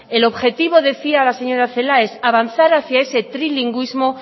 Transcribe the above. el objetivo es decía la señora celaá avanzar hacía ese trilingüismo